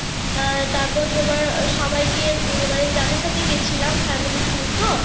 আহ তারপর তোমার সবাইকে নিয়ে মানে যাদের সাথে গিয়েছিলাম family tour তো।